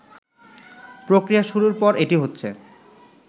প্রক্রিয়া শুরুর পর এটি হচ্ছে